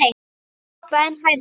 Ég hrópaði enn hærra.